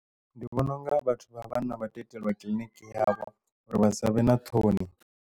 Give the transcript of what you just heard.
Ndi vhona unga vhathu vha vhanna vha to iteliwa kiḽiniki yavho uri vha savhe na ṱhoni.